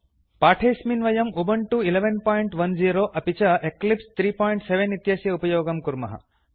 अस्मिन् पाठे वयं उबुन्तु 1110 अपि च एक्लिप्स 37 इत्यस्य उपयोगं कुर्मः